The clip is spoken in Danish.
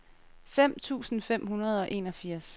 fem tusind fem hundrede og enogfirs